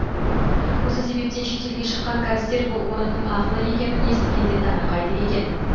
осы себептен шет елге шыққан кәрістер бұл орынның ақылы екенін естігенде таңырқайды екен